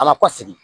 Ala kɔ sigi